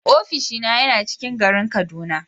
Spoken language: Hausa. Ofishina yana ciƙin garin kaduna.